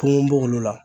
Kungo b'olu la